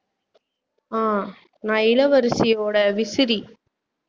ஆஹ் நான் இளவரசியோட விசிறி